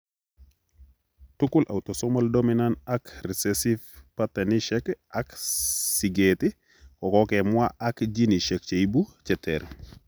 Tugul autosomal dominant ak recessive pattanisek ak sikeet kokokemwaa ak genesiek cheibu cheter